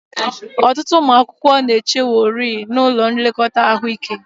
Ọtụtụ ụmụ akwụkwọ na-echeworị n'ụlọ nlekọta ahụike